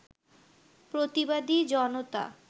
প্রতিবাদী জনতা